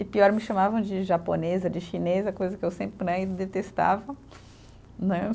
E pior, me chamavam de japonesa, de chinesa, coisa que eu sempre né, e detestava, né.